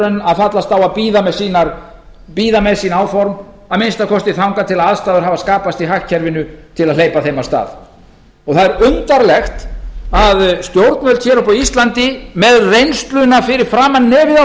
en að fallast á að bíða með sín áform að minnsta kosti þangað til að aðstæður hafa skapast í hagkerfinu til að hleypa þeim af stað það er undarlegt að stjórnvöld hér uppi á íslandi með reynsluna fyrir framan nefið á